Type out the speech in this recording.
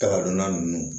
Kaba donna ninnu